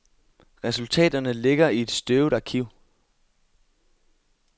Resultaterne ligger i et støvet arkiv.